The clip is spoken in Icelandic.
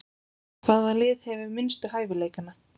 Hvaða lið hefur minnstu hæfileikana?